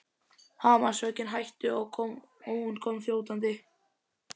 Hamarshöggin hættu og hún kom þjótandi.